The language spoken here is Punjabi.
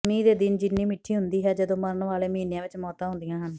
ਗਰਮੀ ਦੇ ਦਿਨ ਜਿੰਨੀ ਮਿੱਠੀ ਹੁੰਦੀ ਹੈ ਜਦੋਂ ਮਰਨ ਵਾਲੇ ਮਹੀਨਿਆਂ ਵਿੱਚ ਮੌਤਾਂ ਹੁੰਦੀਆਂ ਹਨ